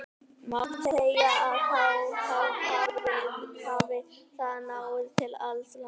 Má segja að þá hafi það náð til alls landsins.